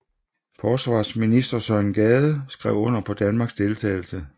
Forsvarsminister Søren Gade skrev under på Danmarks deltagelse